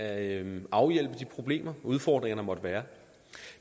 at afhjælpe de problemer udfordringer der måtte være